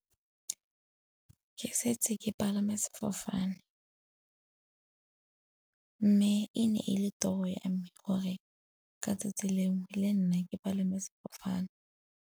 Ke setse ke palame sefofane, mme e ne e le tiro ya me gore ka 'tsatsi lengwe le nna ke palame sefofane.